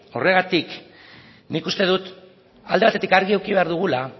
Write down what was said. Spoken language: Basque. horregatik nik uste dut alde batetik argi eduki behar dugula